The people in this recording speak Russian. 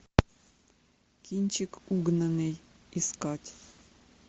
кинчик угнанный искать